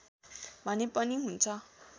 भने पनि हुन्छ